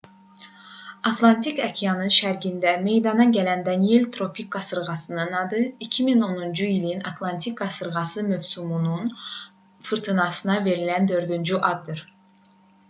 atlantik okeanının şərqində meydana gələn danielle tropik qasırğasının adı 2010-cu ilin atlantik qasırğa mövsümünün fırtınasına verilən dördüncü addır